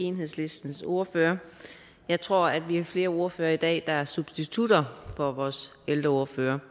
enhedslistens ordfører jeg tror at vi er flere ordførere i dag der er substitutter for vores ældreordførere